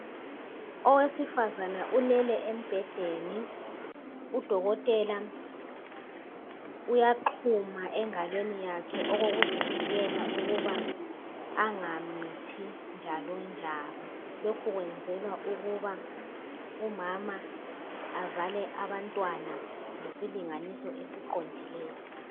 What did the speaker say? Owesifazana ulele embhedeni udokotela uyaxuma engalweni yakhe okokuzivikela ukuba angamithi njalonjalo. Lokhu kwenzelwa ukuba umama azale abantwana ngesilinganiso esiqondileyo.